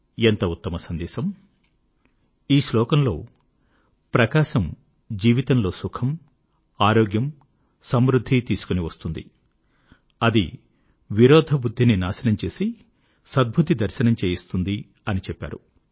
ఎంత ఉత్తమ సందేశము ఈ శ్లోకంలో ప్రకాశం జీవితం లో సుఖం ఆరోగ్యం సమృద్ధి తీసుకొనివస్తుంది అది విరోధబుద్ధిని నాశనం చేసి సద్బుద్ధి దర్శనం చేయిస్తుంది అని చెప్పారు